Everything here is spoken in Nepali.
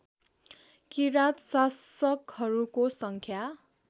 किराँत शासकहरूको सङ्ख्या